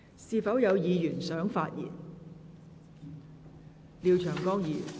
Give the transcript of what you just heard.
是否有其他議員想發言？